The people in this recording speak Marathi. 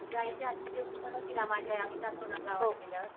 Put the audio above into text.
हातचं जेवण बनवती ना माझी आई आम्ही जातो ना गावाला गेल्यावर